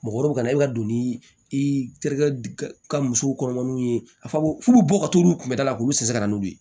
Mɔgɔ wɛrɛw kana i ka don ni i terikɛ ka muso kɔnɔmaw ye a bɛ fu bɛ bɔ ka t'olu kunbɛ da la k'olu se ka na n'u ye